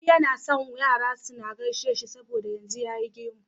Ali yAna son Yara suke gaishe shi saboda yanzu yayi gemu